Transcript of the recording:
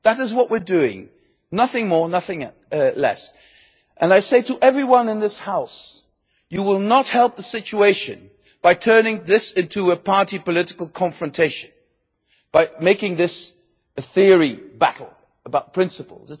that. That is what we are doing nothing more, nothing less. I say to everyone in this House that you will not help the situation by turning this into a party political confrontation, by making this a theoretical battle about principles.